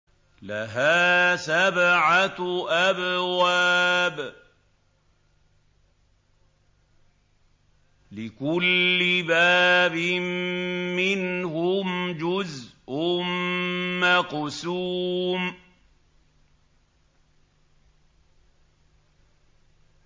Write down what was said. لَهَا سَبْعَةُ أَبْوَابٍ لِّكُلِّ بَابٍ مِّنْهُمْ جُزْءٌ مَّقْسُومٌ